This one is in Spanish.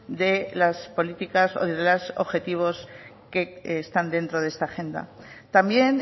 de las políticas o de los objetivos que están dentro de esta agenda también